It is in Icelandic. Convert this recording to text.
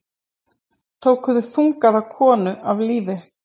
Tóku þungaða konu af lífi